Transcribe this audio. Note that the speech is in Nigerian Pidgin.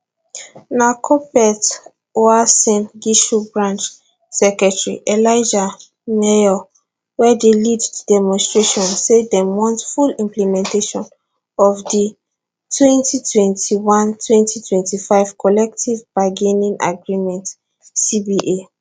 na kuppet uasin gishu branch secretary elijah maiyo wey dey lead di demonstration say dem want full implementation of di 20212025 collective bargaining agreement cba